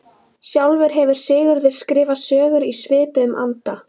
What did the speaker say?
Sjálfur hefur Sigurður skrifað sögur í svipuðum anda.